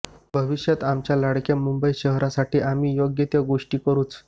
भविष्यात आमच्या लाडक्या मुंबई शहरासाठी आम्ही योग्य त्या गोष्टी करूच